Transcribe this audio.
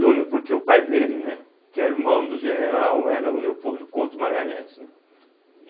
Júnior porque o pai dele, né, que era o irmão do general, era o Leopoldo Couto de Magalhães, né e